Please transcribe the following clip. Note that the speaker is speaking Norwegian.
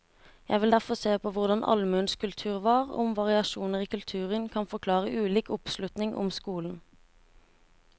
Jeg vil derfor se på hvordan allmuens kultur var, og om variasjoner i kulturen kan forklare ulik oppslutning om skolen.